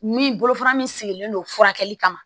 Min bolofara min sigilen don furakɛli kama